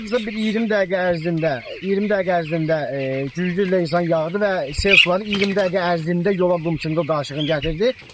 Hardasa bir 20 dəqiqə ərzində, 20 dəqiqə ərzində güclü leysan yağdı və sel suları 20 dəqiqə ərzində yola qum-çınqıl daşlığını gətirdi.